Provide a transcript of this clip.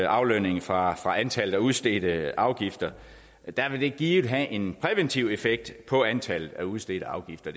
aflønningen fra antallet af udstedte afgifter vil det givet have en præventiv effekt på antallet af udstedte afgifter